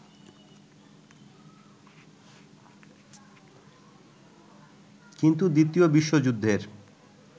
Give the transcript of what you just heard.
কিন্তু দ্বিতীয় বিশ্বযুদ্ধের